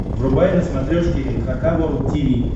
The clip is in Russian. врубай на смотрешке эн эйч кей волд ти ви